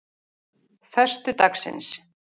föstudagsins